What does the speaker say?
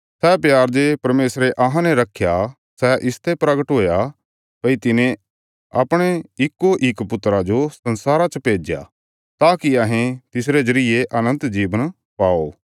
सै प्यार जे परमेशरे अहांने रखया सै इसते परगट हुया भई तिने अपणे इक्कोइक पुत्रा जो संसारा च भेज्या ताकि अहें तिसरे जरिये अनन्त जीवन पाओ